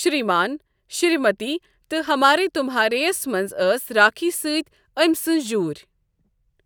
شریمان شریمتی تہٕ ہمارے تمھارے یَس منٛز ٲس راکھی سۭتۍ أمۍ سٕنٛز جوٗرۍ۔